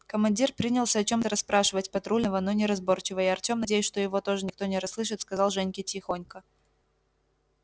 командир принялся о чём-то расспрашивать патрульного но неразборчиво и артём надеясь что его тоже никто не расслышит сказал женьке тихонько